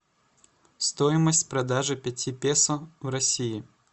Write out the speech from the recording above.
стоимость продажи пяти песо в россии